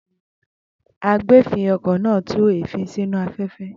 Agbèéfín-okọ̀ náà tú èéfín sínú afẹ́fẹ́.